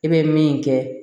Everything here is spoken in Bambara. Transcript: I bɛ min kɛ